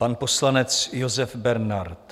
Pan poslanec Josef Bernad.